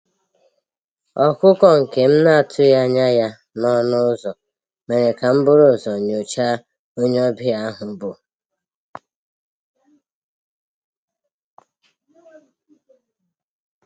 Ọ́kụ́kụ́ nke m na-atụ́ghị́ ányá yá n'ọnụ́ ụ́zọ̀ mèrè kà m búrú ụ́zọ̀ nyòcháá ónyé ọ́bị̀à ahụ́ bù.